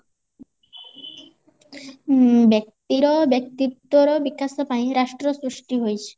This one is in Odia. ଉଁ ବ୍ୟକ୍ତି ର ବ୍ୟକ୍ତିତ୍ବ ର ବିକାଶ ପାଇଁ ରାଷ୍ଟ୍ର ସୃଷ୍ଟି ହୋଇଛି